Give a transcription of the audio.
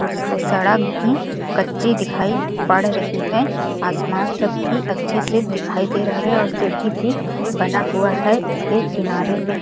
उसको सड़क भी कच्ची दिखाई पड़ रही है आसमान सब भी अच्छे से दिखाई दे रहा है और सीढ़ी भी बना हुआ है उस के किनारे में--